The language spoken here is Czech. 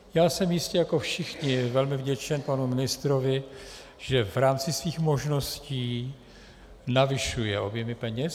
Já jsem jistě jako všichni velmi vděčen panu ministrovi, že v rámci svých možností navyšuje objemy peněz.